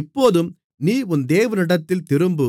இப்போதும் நீ உன் தேவனிடத்தில் திரும்பு